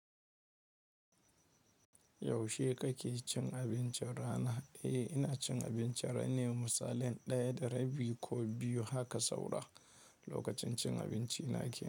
Yaushe kake cin abincin rana? Eh, ina cin abincin rana. Misalin ɗaya da rabi ko biyu haka saura lokacin cin abinci na ke kenan.